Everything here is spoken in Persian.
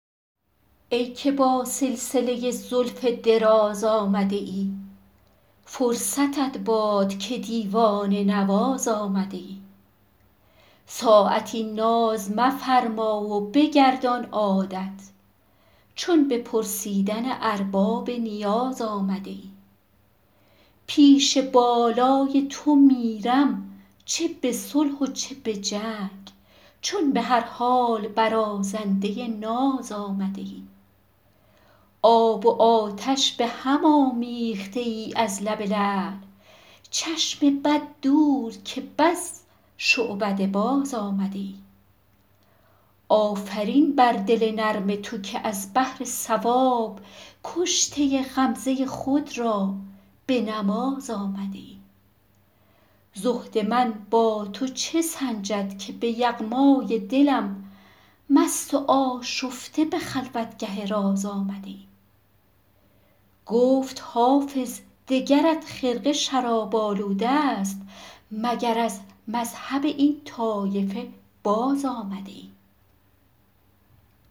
ای که با سلسله زلف دراز آمده ای فرصتت باد که دیوانه نواز آمده ای ساعتی ناز مفرما و بگردان عادت چون به پرسیدن ارباب نیاز آمده ای پیش بالای تو میرم چه به صلح و چه به جنگ چون به هر حال برازنده ناز آمده ای آب و آتش به هم آمیخته ای از لب لعل چشم بد دور که بس شعبده باز آمده ای آفرین بر دل نرم تو که از بهر ثواب کشته غمزه خود را به نماز آمده ای زهد من با تو چه سنجد که به یغمای دلم مست و آشفته به خلوتگه راز آمده ای گفت حافظ دگرت خرقه شراب آلوده ست مگر از مذهب این طایفه باز آمده ای